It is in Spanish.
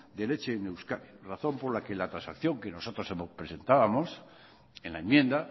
de leche en euskadi razón por la que la transacción que nosotros hemos presentábamos en la enmienda